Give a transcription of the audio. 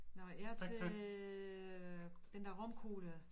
Nåh jeg til den der romkugle